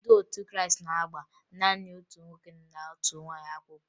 Ndị otu Krịịstị na-agba naanị otu nwoke na otu nwaanyị akwụkwọ